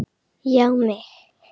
Já mig!